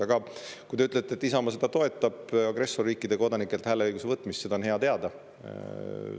Aga kui te ütlete, et Isamaa toetab agressorriikide kodanikelt hääleõiguse võtmist, siis seda on hea teada.